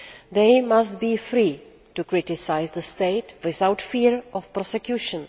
They must be free to criticise the state without fear of prosecution.